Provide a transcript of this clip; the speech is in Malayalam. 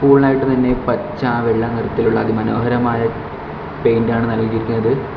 സ്കൂളിനായിട്ട് തന്നെ പച്ച വെള്ള നിറത്തിലുള്ള അതിമനോഹരമായ പെയിന്റാണ് നൽകിയിരിക്കുന്നത്.